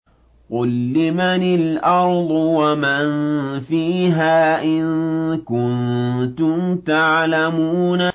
قُل لِّمَنِ الْأَرْضُ وَمَن فِيهَا إِن كُنتُمْ تَعْلَمُونَ